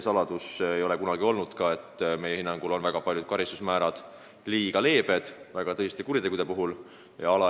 Samas pole kunagi olnud saladus, et meie hinnangul ongi paljud karistused väga tõsiste kuritegude eest liiga leebed.